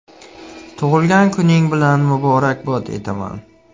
Tug‘ilgan kuning bilan muborakbod etaman!